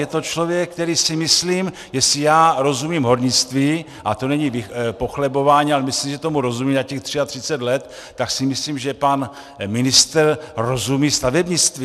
Je to člověk, který, si myslím, jestli já rozumím hornictví, a to není pochlebování, ale myslím, že tomu rozumím za těch 33 let, tak si myslím, že pan ministr rozumí stavebnictví.